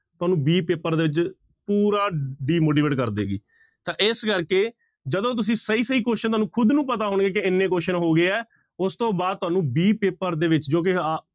ਤੁਹਾਨੂੰ b paper ਦੇ ਵਿੱਚ ਪੂਰਾ demotivate ਕਰ ਦਏਗੀ, ਤਾਂ ਇਸ ਕਰਕੇ ਜਦੋਂ ਤੁਸੀਂ ਸਹੀ ਸਹੀ question ਤੁਹਾਨੂੰ ਖੁੱਦ ਨੂੰ ਪਤਾ ਹੋਣਗੇੇ ਕਿ ਇੰਨੇ question ਹੋ ਗਏ ਹੈ ਉਸ ਤੋਂ ਬਾਅਦ ਤੁਹਾਨੂੰ b ਪੇਪਰ ਦੇ ਵਿੱਚ ਜੋ ਕਿ ਆ